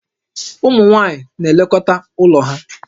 Ụmụ nwaanyị na-elekọta ụlọ ha